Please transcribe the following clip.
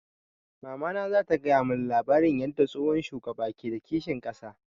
Mamana za ta gaya mun labarin yarda tsohon shugaba ke da kishin ƙasa